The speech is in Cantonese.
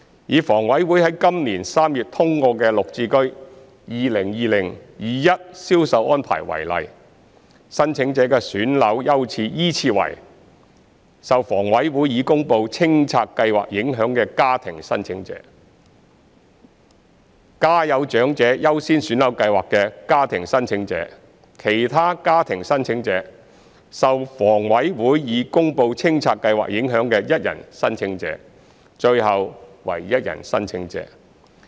以房委會於今年3月通過的綠置居 2020-2021 銷售安排為例，申請者的選樓優次依次為：受房委會已公布清拆計劃影響的家庭申請者、家有長者優先選樓計劃的家庭申請者、其他家庭申請者、受房委會已公布清拆計劃影響的一人申請者，最後為一人申請者。